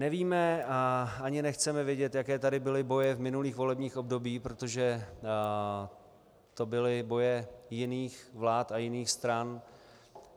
Nevíme a ani nechceme vědět, jaké tady byly boje v minulých volebních obdobích, protože to byly boje jiných vlád a jiných stran.